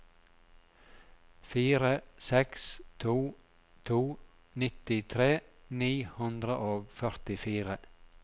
fire seks to to nittitre ni hundre og førtifire